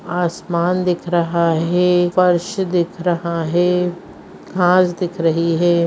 आसमान दिख रहा है फर्श दिख रहा है घास दिख रही है।